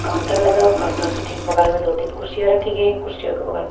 counter लगा ओ counter के ठीक बगल में दो-तीन कुर्सियां रखी गई हैं कुर्सियों के बगल में --